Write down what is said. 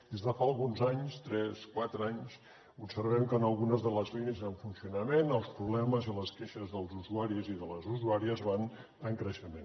des de fa alguns anys tres quatre anys observem que en algunes de les línies en funcionament els problemes i les queixes dels usuaris i de les usuàries van en creixement